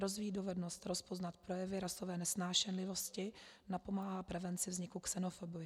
Rozvíjí dovednosti rozpoznat projevy rasové nesnášenlivosti, napomáhá prevenci vzniku xenofobie.